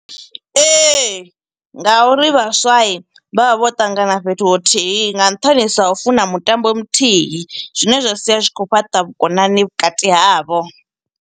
Ee, ngauri vhaswa vha vha vho ṱangana fhethu huthihi nga nṱhani sa u funa mutambo muthihi zwine zwa sia zwi khou fhaṱa vhukonani vhukati havho.